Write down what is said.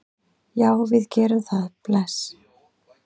Já, við gerum það. Bless.